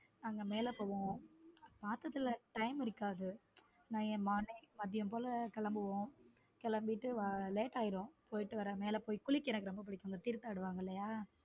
அங்க மேல போவோம் மாசத்துல time இருக்காது நாங்க morning மதியம் போல கிளம்புவோம் கிளம்பிட்டு late ஆகிடும் போயிடு வர குளிக்க ரொம்ப பிடிக்கும் தீர்த்தம் ஆடுவாங்க இல்லையா.